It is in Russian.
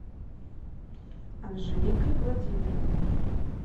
анжеликой владимировной